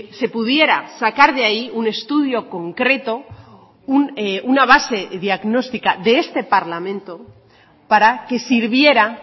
se pudiera sacar de ahí un estudio concreto una base diagnóstica de este parlamento para que sirviera